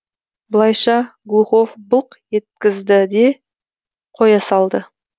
былайша глухов былқ еткізді де қоя салды